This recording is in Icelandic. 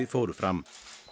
fóru fram